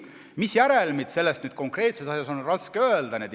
Mis järelmid selles konkreetses asjas on, seda on raske öelda.